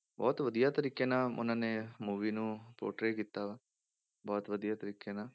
ਬਹੁਤ ਵਧੀਆ ਤਰੀਕੇ ਨਾਲ ਉਹਨਾਂ ਨੇ movie ਨੂੰ portray ਕੀਤਾ ਵਾ, ਬਹੁਤ ਵਧੀਆ ਤਰੀਕੇ ਨਾਲ